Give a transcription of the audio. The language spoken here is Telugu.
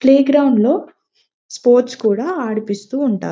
ప్లేగ్రౌండ్ లో స్పోర్ట్స్ కూడా ఆడిపిస్తుంటారు.